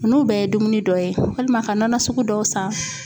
Nunnu bɛɛ ye dumuni dɔ ye walima ka nɔnɔ sugu dɔw san.